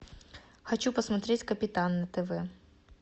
хочу посмотреть капитан на тв